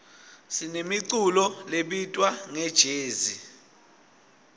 sinemiculo lebitwa ngejezi